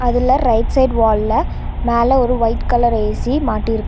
அதுல right side வால்ல மேல ஒரு ஒய்ட் கலர் ஏ_சி மாட்டிருக்கு.